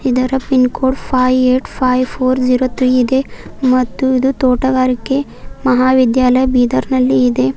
ಇದರ pin code five eight five four zero three ಇದೆ ಮತ್ತು ಇದು ತೋಟಗಾರಿಕೆ ಮಹಾವಿದ್ಯಾಲಯ ಬೀದರ್ ನಲ್ಲಿ ಇದೆ.